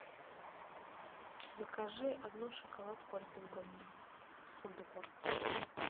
закажи одну шоколадку альпен гольд с фундуком